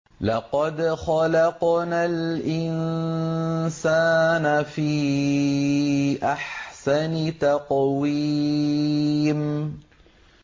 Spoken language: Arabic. لَقَدْ خَلَقْنَا الْإِنسَانَ فِي أَحْسَنِ تَقْوِيمٍ